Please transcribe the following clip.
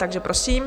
Takže prosím.